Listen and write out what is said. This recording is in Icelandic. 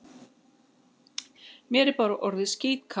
Mér er bara orðið skítkalt.